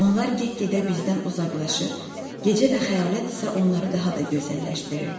Onlar get-gedə bizdən uzaqlaşır, gecə və xəyalət isə onları daha da gözəlləşdirirdi.